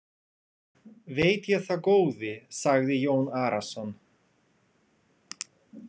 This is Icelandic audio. Veit ég það góði, sagði Jón Arason.